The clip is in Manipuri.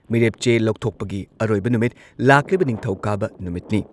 ꯃꯤꯔꯦꯞ ꯆꯦ ꯂꯧꯊꯣꯛꯄꯒꯤ ꯑꯔꯣꯏꯕ ꯅꯨꯃꯤꯠ ꯂꯥꯛꯂꯤꯕ ꯅꯤꯡꯊꯧꯀꯥꯕ ꯅꯨꯃꯤꯠꯅꯤ ꯫